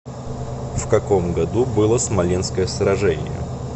в каком году было смоленское сражение